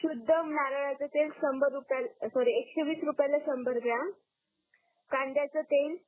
सुध नारळाच तेल संभर रुपयला सॉरी एकशे वीस रुपयाला संभर ग्रॉम कांद्याच तेच